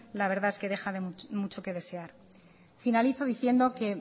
el resultado deja mucho que desear finalizo diciendo que